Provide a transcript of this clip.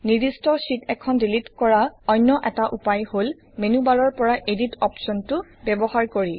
নিৰ্দিষ্ট শ্বিট এখন ডিলিট কৰা অন্য এটা উপায় হল মেনুবাৰৰ পৰা এডিট অপশ্বনটো ব্যৱহাৰ কৰি